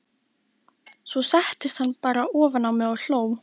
Svo settist hann bara ofan á mig og hló.